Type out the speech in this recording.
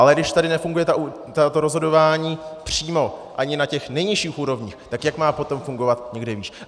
Ale když tady nefunguje to rozhodování přímo ani na těch nejnižších úrovních, tak jak má potom fungovat někde výš?